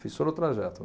Fiz todo o trajeto.